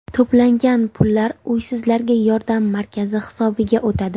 To‘plangan pullar uysizlarga yordam markazi hisobiga o‘tadi.